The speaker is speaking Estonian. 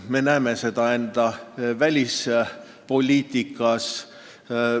Me näeme seda ka enda välispoliitikas.